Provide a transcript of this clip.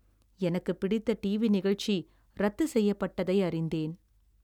எனக்குப் பிடித்த டிவி நிகழ்ச்சி ரத்துசெய்யப்பட்டதை அறிந்தேன்.